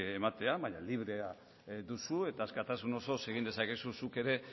ematea baina librea duzu eta askatasun osoz egin dezakezu zuk ere